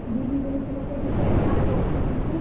ଦିଦି କେନୁ ଶୁନିକରି ସେଟ୍ ମାନେ ରଖିଛନ୍ ଯେ।